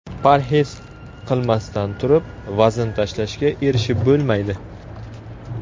Parhez qilmasdan turib vazn tashlashga erishib bo‘lmaydi.